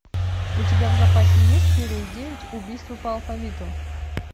у тебя в запасе есть серия девять убийство по алфавиту